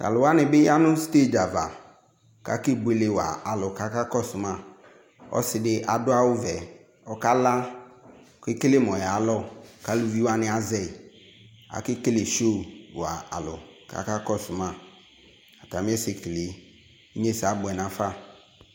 Tʋ alʋ wanɩ bɩ ya nʋ sted ava kʋ akebuele wa alʋ kʋ akakɔsʋ ma Ɔsɩ dɩ adʋ awʋvɛ Ɔkala kʋ ekele mʋ ɔyalɔ kʋ aluvi wanɩ azɛ yɩ Akekele sio wa alʋ kʋ akakɔsʋ ma atamɩ ɛsɛkele yɛ Inyesɛ abʋɛ nafa